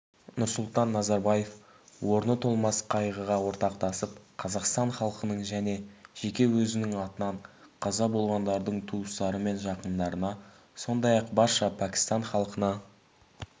нұрсұлтан назарбаев орны толмас қайғыға ортақтасып қазақстан халқының және жеке өзінің атынан қаза болғандардың туыстары мен жақындарына сондай-ақ барша пәкістан халқына